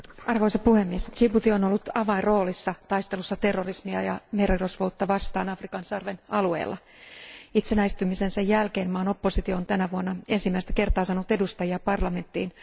Arvoisa puhemies, Djibouti on ollut avainroolissa taistelussa terrorismia ja merirosvoutta vastaan Afrikan sarven alueella. Itsenäistymisensä jälkeen maan oppositio on tänä vuonna ensimmäistä kertaa saanut edustajia parlamenttiin.